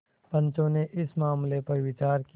पंचो ने इस मामले पर विचार किया